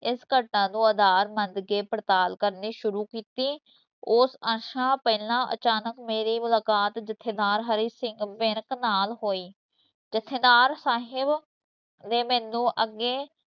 ਇਸ ਘਟਨਾ ਨੂੰ ਆਧਾਰ ਮੰਨ ਕੇ ਪੜਤਾਲ ਕਰਨੀ ਸ਼ੁਰੂ ਕੀਤੀ, ਉਹ ਅਰਸਾ ਪਹਿਲਾਂ ਅਚਾਨਕ ਮੇਰੀ ਮੁਲਾਕਾਤ ਜਥੇਦਾਰ ਹਰੀ ਸਿੰਘ ਵਿਰਕ ਨਾਲ ਹੋਈ, ਜਥੇਦਾਰ ਸਾਹਿਬ ਨੇ ਮੈਨੂੰ ਅੱਗੇ